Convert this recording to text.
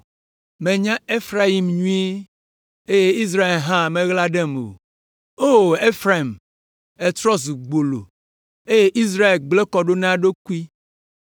Menya Efraim nyuie, eye Israel hã meɣla ɖem o. O Efraim, ètrɔ zu gbolo, eye Israel gblẽ kɔ ɖo na eɖokui.